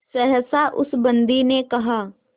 सहसा उस बंदी ने कहा